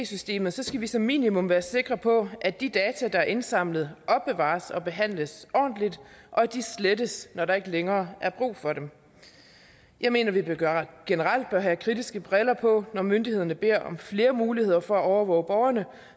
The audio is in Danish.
systemet så skal vi som minimum være sikre på at de data der er indsamlet opbevares og behandles ordentligt og at de slettes når der ikke længere er brug for dem jeg mener at vi generelt bør have kritiske briller på når myndighederne beder om flere muligheder for at overvåge borgerne